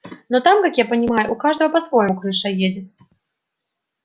но там как я понимаю у каждого по-своему крыша едет